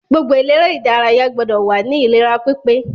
Gbogbo eléré ìdárayá gbọdọ̀ wà ní ìlera pípé.